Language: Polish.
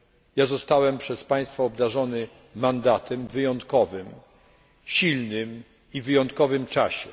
Ja zostałem przez państwa obdarzony mandatem, wyjątkowym, silnym i w wyjątkowym czasie.